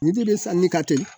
Nin de bɛ sanni ka teli